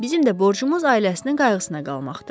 Bizim də borcumuz ailəsinin qayğısına qalmaqdır.